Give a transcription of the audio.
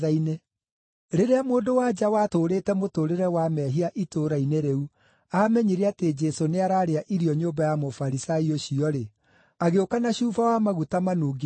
Rĩrĩa mũndũ-wa-nja watũũrĩte mũtũũrĩre wa mehia itũũra-inĩ rĩu aamenyire atĩ Jesũ nĩararĩa irio nyũmba ya Mũfarisai ũcio-rĩ, agĩũka na cuba wa maguta manungi wega,